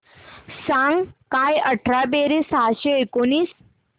सांग काय अठरा बेरीज सहाशे एकोणीस